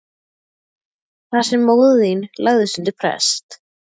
Þar sem móðir þín lagðist undir prest.